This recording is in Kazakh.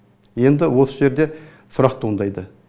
енді осы жерде сұрақ туындайды